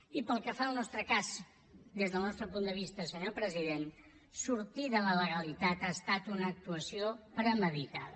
i pel que fa al nostre cas des del nostre punt de vista senyor president sortir de la legalitat ha estat una actuació premeditada